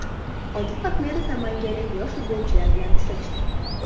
Odil Ahmedov namanganlik yosh futbolchilar bilan uchrashdi .